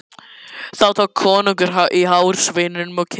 Þá tók konungur í hár sveininum og kippti.